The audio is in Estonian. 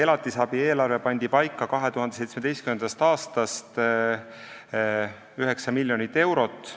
Elatisabi eelarve pandi paika 2017. aastast ja see on 9 miljonit eurot.